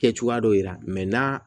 Kɛ cogoya dɔ yira n'a